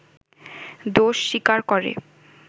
দোষ স্বীকার করে